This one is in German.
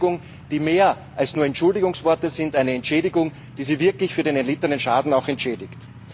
Eine Entschädigung, die mehr ist als nur Entschuldigungsworte, eine Entschädigung, die sie wirklich für den erlittenen Schaden auch entschädigt.